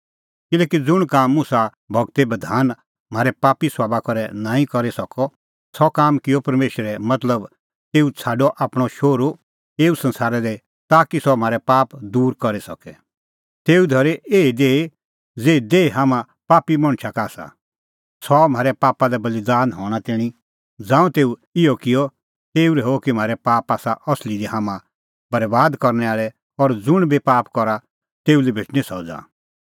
किल्हैकि ज़ुंण काम मुसा गूरो बधान म्हारै पापी सभाबा करै नांईं करी सकअ सह काम किअ परमेशरै मतलब तेऊ छ़ाडअ आपणअ शोहरू एऊ संसारा दी ताकि सह म्हारै पाप दूर करी सके तेऊ धरी एही देही ज़ेही देही हाम्हां पापी मणछा का आसा सह आअ म्हारै पापा लै बल़ीदान हणें तैणीं ज़ांऊं तेऊ इहअ किअ तेऊ रहैऊअ कि म्हारै पाप आसा असली दी हाम्हां बरैबाद करनै आल़ै और ज़ुंण बी पाप करा तेऊ लै भेटणीं सज़ा